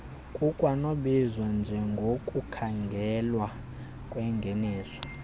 kukwanokubizwa njengokukhangelwa kwengeniso